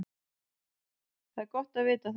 Það er gott að vita það.